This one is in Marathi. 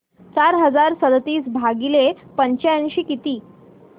चार हजार सदतीस भागिले पंच्याऐंशी किती